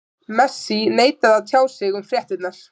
Messi neitaði að tjá sig um fréttirnar.